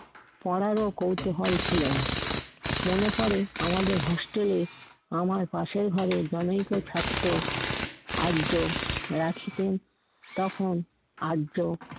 পড়ারও কৌতূহল ছিলো না। মনে পড়ে আমাদের হোস্টেলে আমার পাশের ঘরে জনৈক থাকতো, আর্য রাখিতেন। তখন আর্য